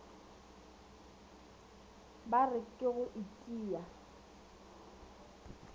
ba re ke go itia